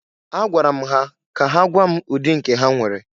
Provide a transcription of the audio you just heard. Agwara m ha ka ha gwaa m ụdị nke ha nwere.